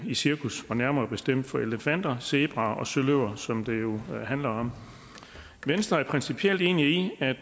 i cirkus nærmere bestemt for elefanter zebraer og søløver som det her jo handler om venstre er principielt enig i at